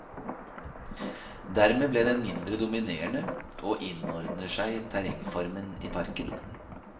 Dermed ble den mindre dominerende og innordner seg terrengformen i parken.